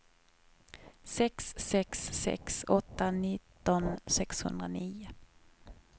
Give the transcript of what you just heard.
sex sex sex åtta nitton sexhundranio